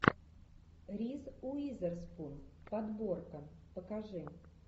риз уизерспун подборка покажи